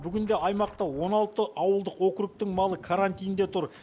бүгінде аймақта он алты ауылдық округтің малы карантинде тұр